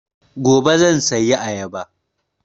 Gobe zan sayi ayaba